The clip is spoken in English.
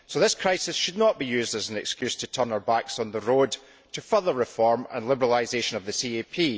This crisis should not therefore be used as an excuse to turn our backs on the road to further reform and liberalisation of the CAP.